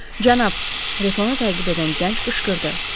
Cənab, Retonu təqib edən gənc qışqırdı.